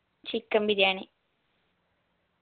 chicken biryani